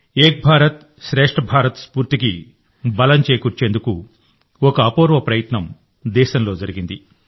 ఏక్ భారత్శ్రేష్ఠ భారత్ స్ఫూర్తికి బలం చేకూర్చేందుకు ఒక అపూర్వ ప్రయత్నం దేశంలో జరిగింది